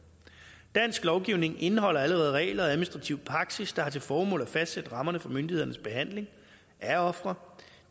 dansk lovgivning indeholder allerede regler og administrativ praksis der har til formål at fastsætte rammerne for myndighedernes behandling af ofre